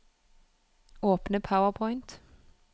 Åpne PowerPoint